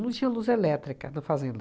Não tinha luz elétrica na fazenda.